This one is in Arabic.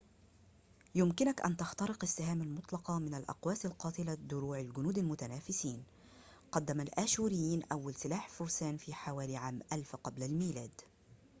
يمكن أن تخترق السهام المُطلقة من الأقواس القاتلة دروع الجنود المتنافسين قدم الآشوريون أول سلاح فرسان في حوالي عام 1000 قبل الميلاد